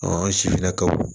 an sifinnakaw